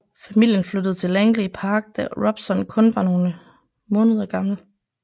Familien flyttede til Langley Park da Robson kun var nogle måneder gammel